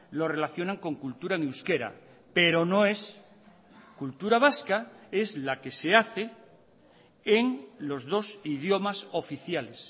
lo relacionan con cultura en euskera pero no es cultura vasca es la que se hace en los dos idiomas oficiales